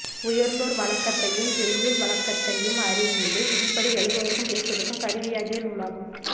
உயர்ந்தோர் வழக்கத்தையுஞ் செய்யுள் வழக்கத்தையும் அறிந்து விதிப்படி எழுதுவதற்கும் பேசுதற்கும் கருவியாகிய நூலாகும்